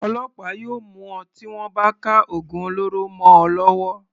Ọlọ́pàá yóò mú ọ tí wọ́n bá ka ògùn olóró mọ ọ lọ́wọ́.